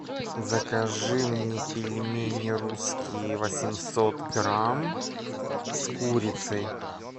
закажи мне пельмени русские восемьсот грамм с курицей